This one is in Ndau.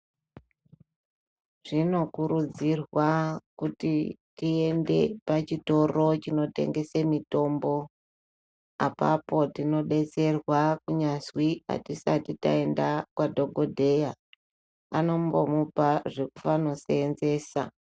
Zvinokurudzirwa kuti tiende pachitoro chinotengese mitombo apapo tinodetserwa kunyazwi atisati taenda kwadhokodheya anombomupa zvekufano seenzesa.